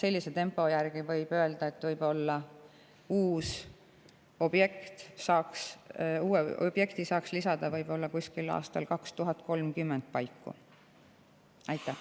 Praeguse tempo järgi võib öelda, et võib-olla saaks uue objekti lisada 2030. aasta paiku.